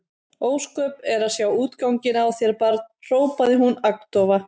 Ósköp er að sjá útganginn á þér barn hrópaði hún agndofa.